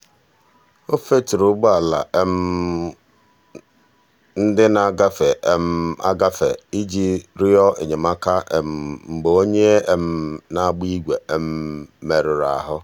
o feturu ụgbọala ndị na-agafe agafe iji rịọ enyemaka mgbe onye na-agba igwe merụrụ ahụ.